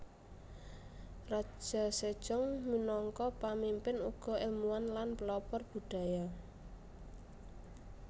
Raja Sejong minangka pamimpin uga èlmuwan lan pelopor budaya